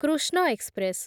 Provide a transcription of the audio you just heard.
Krishna express